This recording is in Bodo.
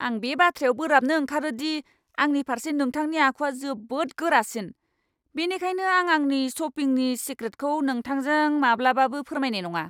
आं बे बाथ्रायाव बोराबनो ओंखारो दि आंनि फारसे नोंथांनि आखुवा जोबोद गोरासिन, बेनिखायनो आं आंनि शपिंनि सिक्रेटखौ नोंथांजों माब्लाबाबो फोरमायनाय नङा।